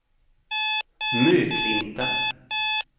Möklinta